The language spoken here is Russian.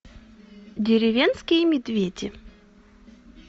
деревенские медведи